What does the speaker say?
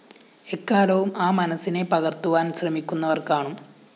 എക്കാലവും ആ മനസ്സിനെ പകര്‍ത്തുവാന്‍ശ്രമിക്കുന്നവര്‍കാണും